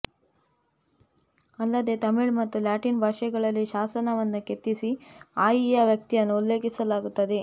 ಅಲ್ಲದೆ ತಮಿಳು ಮತ್ತು ಲ್ಯಾಟಿನ್ ಭಾಷೆಗಳಲ್ಲಿ ಶಾಸನವನ್ನೂ ಕೆತ್ತಿಸಿ ಆಯಿಯ ವ್ಯಕ್ತಿತ್ವವನ್ನು ಉಲ್ಲೇಖಿಸಲಾಗುತ್ತದೆ